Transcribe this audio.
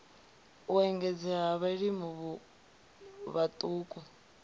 u engedzea ha vhalimi vhaṱuku